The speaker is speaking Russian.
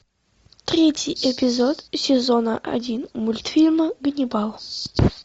третий эпизод сезона один мультфильма ганнибал